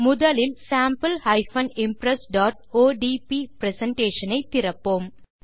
முதலில் sample impressஒடிபி presentation ஐ திறப்போம்